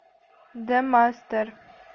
демастер